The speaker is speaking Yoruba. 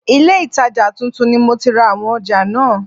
Ilé itaja tuntun ni mo ti ra àwọn ọjà náà.